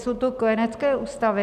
Jsou to kojenecké ústavy.